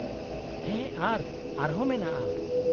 -ᱦᱮᱸ ᱟᱨ ᱟᱨᱦᱚᱸ ᱢᱮᱱᱟᱜᱼᱟ ᱾